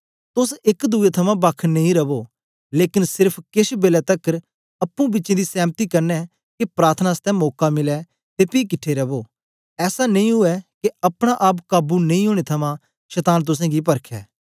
तोस एक दुए थमां बक्ख नेई रवो लेकन सेर्फ केछ बेलै तकर अप्पुं बिचें दी सैमति कन्ने के प्रार्थना आसतै मौका मिलै ते पी किट्ठे रवो ऐसा नेई उवै के अपना आप काबू नेई ओनें थमां शतान तुसेंगी परखै